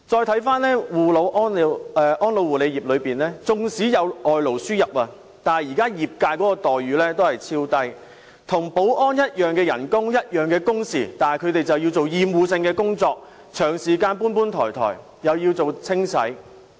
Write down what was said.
看回安老護理業，縱使有外勞輸入，但現時業界的待遇仍然極低，他們與保安員的薪酬及工時相同，但卻要做厭惡性的工作，長時間"搬搬抬抬"，亦要做清洗工作。